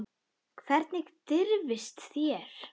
Hvernig dirfist þér.